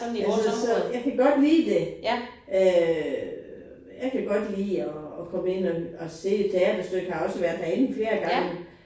Altså så jeg kan godt lide det øh jeg kan godt lide at at komme ind og og se et teaterstykke har også været herinde flere gange